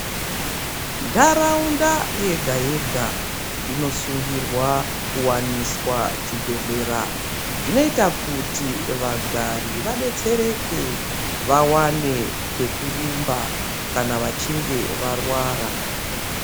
Nharaunda yega yega inosungirwa kuwaniswa chibhedhlera. Zvinoita kuti vagari vadetsereke vawane kwekurumba kana vechinge varwara.